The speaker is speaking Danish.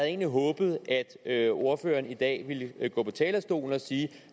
egentlig håbet at at ordføreren i dag ville gå på talerstolen og sige